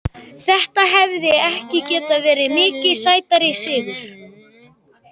Þetta hefði ekki getað verið mikið sætari sigur.